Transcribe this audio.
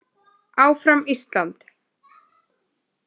Áfram Ísland!